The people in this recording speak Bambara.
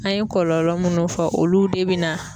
An ye kɔlɔlɔ munnu fɔ, olu de be na